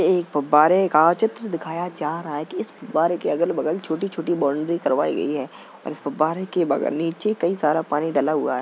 एक फव्वारे का चित्र दिखाया जा रहा है। इस फव्वारे के अगल-बगल छोटी-छोटी बाउंड्री करवाई गयी है और इस फव्वारे के बगल नीचे कई सारा पानी डला हुआ है।